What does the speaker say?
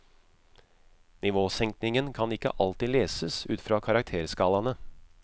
Nivåsenkningen kan ikke alltid leses ut fra karakterskalaene.